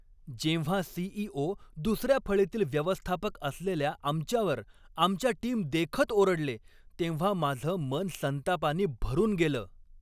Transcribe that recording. जेव्हा C. E. O. दुसऱ्या फळीतील व्यवस्थापक असलेल्या आमच्यावर आमच्या टीमदेखत ओरडले तेव्हा माझं मन संतापानी भरून गेलं.